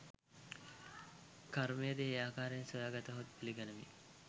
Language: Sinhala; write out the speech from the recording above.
කර්මයද ඒ ආකාරයෙන් සොයාගතහොත් පිළිගනිමි